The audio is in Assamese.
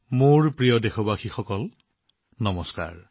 মোৰ মৰমৰ দেশবাসীসকল নমস্কাৰ